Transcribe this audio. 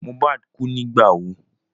Mohbad kú nígbà wo?